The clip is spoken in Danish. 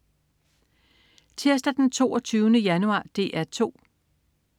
Tirsdag den 22. januar - DR 2: